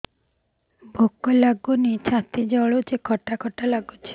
ଭୁକ ଲାଗୁନି ଛାତି ଜଳୁଛି ଖଟା ଖଟା ଲାଗୁଛି